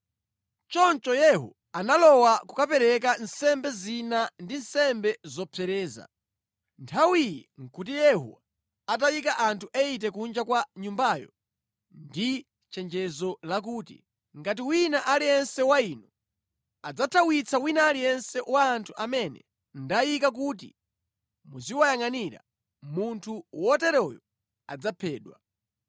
Choncho Yehu analowa kukapereka nsembe zina ndi nsembe zopsereza. Nthawi iyi nʼkuti Yehu atayika anthu 80 kunja kwa nyumbayo ndi chenjezo lakuti, “Ngati wina aliyense wa inu adzathawitsa wina aliyense wa anthu amene ndayika kuti muziwayangʼanira, munthu woteroyo adzaphedwa.”